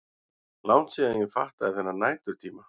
Langt síðan ég fattaði þennan næturtíma.